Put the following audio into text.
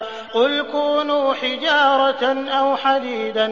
۞ قُلْ كُونُوا حِجَارَةً أَوْ حَدِيدًا